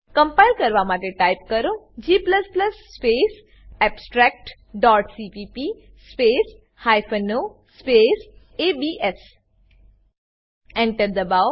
compile કરવા માટે type કરો g space abstract dot CPP space hyphen o space ABS Enter દબાવો